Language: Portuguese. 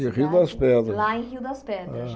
Em rio das pedras lá em Rio das Pedras